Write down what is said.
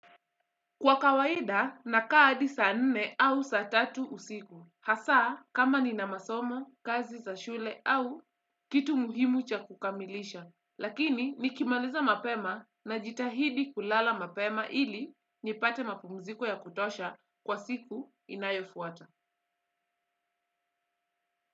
Kwa kawaida, nakaa hadi saa nne au saa tatu usiku. Hasa, kama nina masomo, kazi za shule au kitu muhimu cha kukamilisha. Lakini, nikimaliza mapema najitahidi kulala mapema ili nipate mapumziko ya kutosha kwa siku inayofuata.